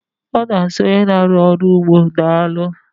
A na asị onye n'arụ ọrụ n'ugbo daalụ